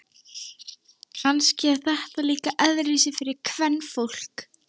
Kannski er þetta líka öðruvísi fyrir kvenfólk.